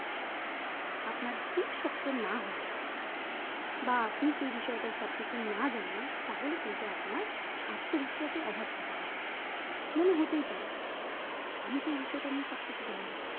আপনার ভীত শক্ত না হয় বা আপনি সেই বিষয়টার সব কিছু না জানেন তাহলে কিন্তু আপনার আত্মবিশ্বাস এর অভাব থেকে যাবে মনে হতেই পারে আমি তো এই বিষয়টা নিয়ে সব কিছু জানি